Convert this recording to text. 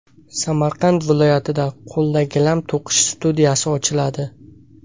Samarqand viloyatida qo‘lda gilam to‘qish studiyasi ochiladi.